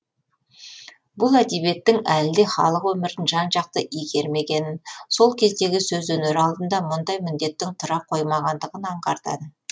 бұл әдебиеттің әлі де халық өмірін жан жақты игермегенін сол кездегі сөз өнері алдында мұндай міндеттің тұра қоймағандығын аңғартады